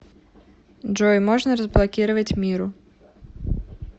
джой можно разблокировать миру